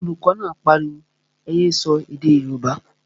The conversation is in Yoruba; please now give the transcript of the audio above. Olùkọ́ náà pariwo, ẹ yé sọ èdè yóòbá!